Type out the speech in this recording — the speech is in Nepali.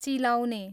चिलाउने